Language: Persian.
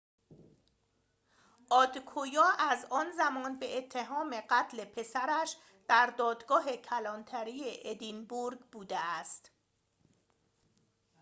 آدکویا از آن زمان به اتهام قتل پسرش در دادگاه کلانتری ادینبورگ بوده است